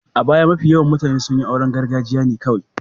A baya, mafi yawan mutane sun yi auren gargajiya ne kawai.